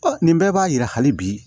nin bɛɛ b'a yira hali bi